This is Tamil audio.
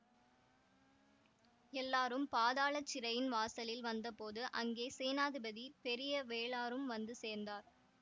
எல்லாரும் பாதாள சிறையின் வாசலில் வந்தபோது அங்கே சேனாதிபதி பெரிய வேளாரும் வந்து சேர்ந்தார்